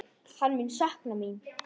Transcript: Hann mun sakna mín.